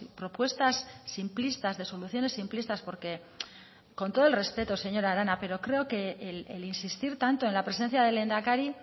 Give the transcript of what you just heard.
propuestas simplistas de soluciones simplistas porque con todo el respeto señora arana pero creo que el insistir tanto en la presencia del lehendakari